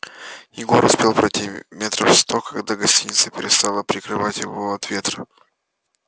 егор успел пройти метров сто когда гостиница перестала прикрывать его от ветра